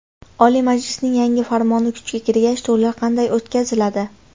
Oliy Majlisning yangi farmoni kuchga kirgach to‘ylar qanday o‘tkaziladi?